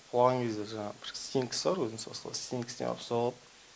құлаған кезде жаңағы стенкісі бар өзінің со сол стенкісіне барып соғылып